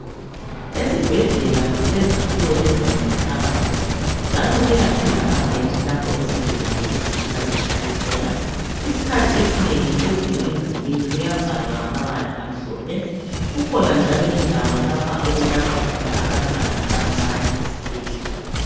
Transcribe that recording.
Esibhedlela kulezakhiwo ezinengi phakathi njalo kuyabe kulamabhentshi lapho izigulane ezifika zihlale kukhona isikhathi esinengi phezulu emdulwini kuyabhalwa ngamabala amhlophe. Kukhona njalo indawo lapho okulatshwa abantwana abancane esibhedlela.